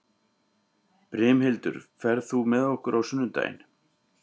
Brimhildur, ferð þú með okkur á sunnudaginn?